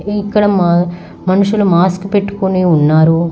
ఇక్కడ మా మనుషులు మాస్క్ పెట్టుకొని ఉన్నారు.